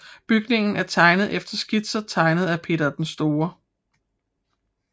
Bygningen er tegnet efter skitser tegnet af Peter den Store